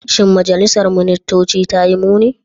Shin majalisar ministoci ta yi muni?